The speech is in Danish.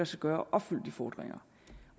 sig gøre at opfylde de fordringer